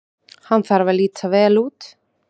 Hann þarf að líta vel út.